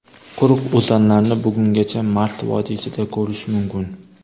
Quruq o‘zanlarni bugungacha Mars vodiysida ko‘rish mumkin.